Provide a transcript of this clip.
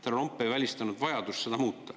Härra Lomp ei välistanud vajadust seda muuta.